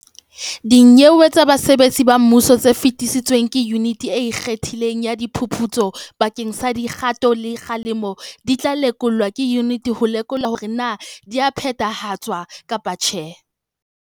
Dinyewe tsa basebetsi ba mmuso tse fetisitsweng ke Yuniti e Ikgethileng ya Di phuputso bakeng sa dikgato tsa kgalemo di tla lekolwa ke yuniti ho lekola hore na di a phethahatswa kapa tjhe.